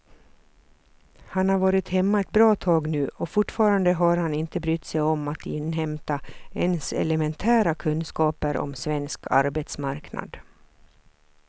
Han har varit hemma ett bra tag nu och fortfarande har han inte brytt sig om att inhämta ens elementära kunskaper om svensk arbetsmarknad.